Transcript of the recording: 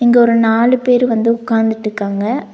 இங்க ஒரு நாலு பேரு வந்து உக்காந்துட்டுக்காங்க.